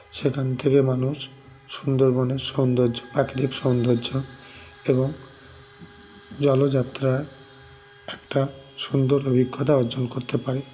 সেখান থেকে মানুষ সুন্দরবনের সৌন্দর্য প্রাকৃতিক সৌন্দর্য এবং জলযাত্রা একটা সুন্দর অভিজ্ঞতা অর্জন করতে পারে